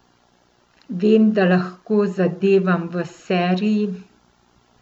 Vem, da lahko zadevam v seriji.